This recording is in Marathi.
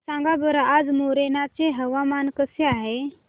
सांगा बरं आज मोरेना चे हवामान कसे आहे